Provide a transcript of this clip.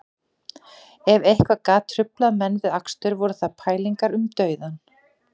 Ef eitthvað gat truflað menn við akstur voru það pælingar um dauðann